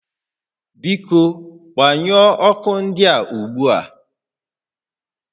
Biko gbanyụọ ọkụ ndịa ugbu a